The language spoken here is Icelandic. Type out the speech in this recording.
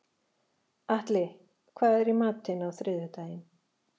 Atli, hvað er í matinn á þriðjudaginn?